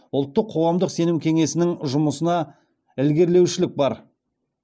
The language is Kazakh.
ұлттық қоғамдық сенім кеңесінің жұмысына ілгерілеушілік бар